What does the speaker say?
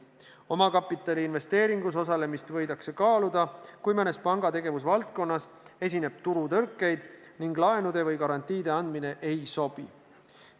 Omakapitaliinvesteeringus osalemist võidakse kaaluda, kui mõnes panga tegevusvaldkonnas esineb turutõrkeid ning laenude või garantiide andmine ei sobi.